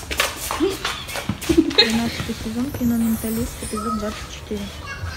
тринадцатый сезон кино менталист эпизод двадцать четыре